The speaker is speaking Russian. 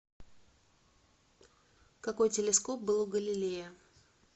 какой телескоп был у галилея